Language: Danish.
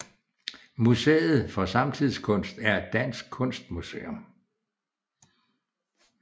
Museet for Samtidskunst er et dansk kunstmuseum